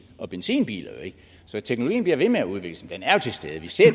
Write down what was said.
og benzinbiler så teknologien bliver ved med at udvikle sig men den er jo til stede vi ser